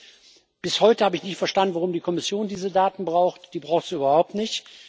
Drittens Bis heute habe ich nicht verstanden, warum die Kommission diese Daten braucht die braucht sie überhaupt nicht!